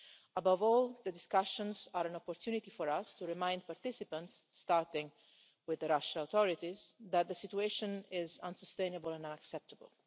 Above all, the discussions are an opportunity for us to remind participants starting with the Russian authorities that the situation is unsustainable and unacceptable.